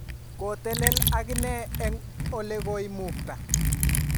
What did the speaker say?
ko telel ak inee eng' ole koimukta